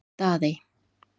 Daðey